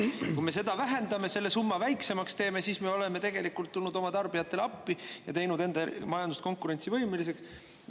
Kui me seda vähendame, selle summa väiksemaks teeme, siis me oleme tegelikult tulnud oma tarbijatele appi ja teinud enda majandust konkurentsivõimeliseks.